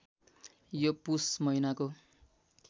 यो पुस महिनाको